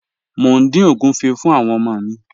Mo ń din ogunfé̀ fún àwọn ọmọ mi.